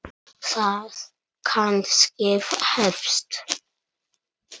Það kannski hefst.